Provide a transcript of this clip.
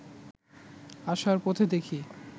আসার পথে দেখি